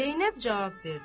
Zeynəb cavab verdi.